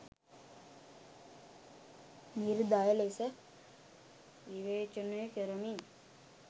නිර්දය ලෙස විවේචනය කරමින්